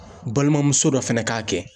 Balimamuso dɔ fana k'a kɛ.